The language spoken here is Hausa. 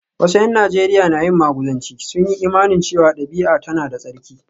Wasu ’yan Najeriya na yin maguzanci, sun yi imanin cewa dabi’a tana da tsarki